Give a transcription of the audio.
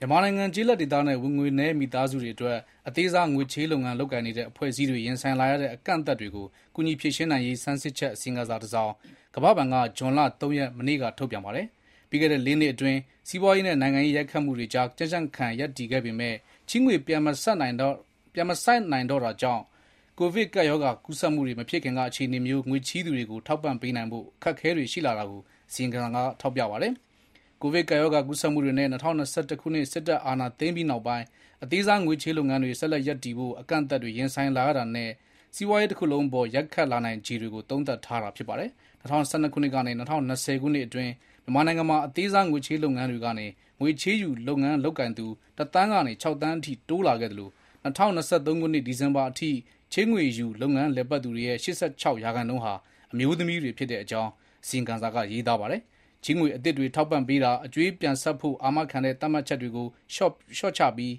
မြန်မာနိုင်ငံ ကျေးလက်ဒေသနဲ့ ဝင်ငွေနည်းမိသားစုတွေအတွက် အသေးစားချေးငွေလုပ်ငန်းလုပ်ကိုင်နေတဲ့ အဖွဲ့အစည်းတွေ ရင်ဆိုင်လာရတဲ့ အကန့်အအသတ်တွေကို ကူညီဖြေရှင်းနိုင်ရေး ဆန်းစစ်ချက် အစီရင်ခံစာတစောင် ကမ္ဘာဘဏ်က မနေ့က ထုတ်ပြန်ပါတယ်။ ပြီးခဲ့တဲ့ လေးနှစ် စီးပွားရေးနဲ့ နိုင်ငံရေး ရိုက်ခတ်မှုတွေကြား ကြံ့ကြံ့ခံရပ်တည်ခဲ့ပေမဲ့ ချေးငွေ ပြန်မဆပ်နိုင်တော့တာတွေများလာတာကြောင့် ကိုဗစ်ကပ်ရောဂါ ကူးစက်မှုတွေ မဖြစ်ခင်က အခြေအနေမျိုး ငွေချေးသူတွေကို ထောက်ပံ့ပေးနိုင်ဖို့ အခက်အခဲတွေ ရှိလာတာကို အစီရင်ခံစာက ထောက်ပြပါတယ်။ ကိုဗစ်ကပ်ရောဂါ ကူးစက်မှုတွေနဲ့ ၂၀၂၁ ခုနှစ် စစ်တပ်အာဏာသိမ်းပြီးနောက်ပိုင်း အသေးစားငွေချေးလုပ်ငန်းတွေ ဆက်လက် ရပ်တည်ဖို့ အကန့်အသတ်တွေ ရင်ဆိုင်လာရတာနဲ့ စီးပွားရေးတခုလုံးအပေါ် ရိုက်ခတ်နိုင်ခြေတွေကို သုံးသပ်ထားတာ ဖြစ်ပါတယ်။ ၂၀၁၂ ခုနှစ်ကနေ ၂၀၂၀ ခုနှစ်အတွင်း မြန်မာနိုင်ငံမှာ အသေးစားငွေချေးလုပ်ငန်းတွေကနေ ငွေချေးယူ လုပ်ငန်းလုပ်ကိုင်သူ တသန်းကနေ ခြောက်သန်းအထိ တိုးလာခဲ့သလို ၂၀၂၃ ခုနှစ် ဒီဇင်ဘာလအထိ ချေးငွေယူ လုပ်ငန်းလည်ပတ်သူတွေရဲ့ ၈၆ ရာခိုင်နှုန်းဟာ အမျိုးသမီးတွေ ဖြစ်တဲ့ အကြောင်း အစီရင်ခံစာက ရေးသားပါတယ်။ ချေးငွေ အသစ်တွေ ထောက်ပံ့ပေးတာ၊ အကြွေးပြန်ဆပ်ဖို့ အာမခံတဲ့ သတ်မှတ်ချက်တွေကို လျော့ချပြီး